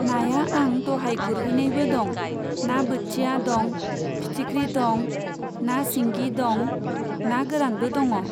नाया आं दहाय गुरहैनायबो दं, ना बोथिया दं, फिथिख्रि दं, ना सिंगि दं, ना गोरानबो दंङ।